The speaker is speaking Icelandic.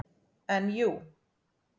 En jú.